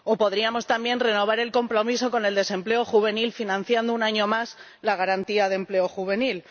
O podríamos, también, renovar el compromiso contra el desempleo juvenil, financiando un año más la Garantía Juvenil.